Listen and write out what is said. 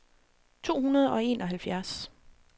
to hundrede og enoghalvfjerds